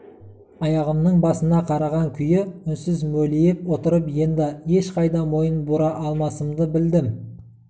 аяғымның басына қараған күйі үнсіз мөлиіп отырып енді ешқайда мойын бұра алмасымды білдім